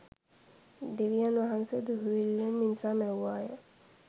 දෙවියන් වහන්සේ දුහුවිල්ලෙන් මිනිසා මැව්වාය